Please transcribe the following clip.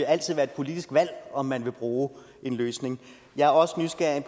altid være et politisk valg om man vil bruge en løsning jeg er også nysgerrig